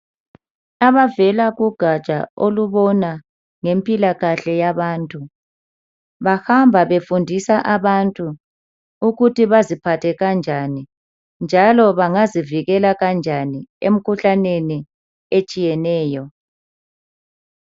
Abavela kugaja olubona impilakahle yabantu bahamba befundisa abantu ukuthi baziphathe kanjani njalo bengazivikela kanjani emkhuhlaneni etshiyeneyo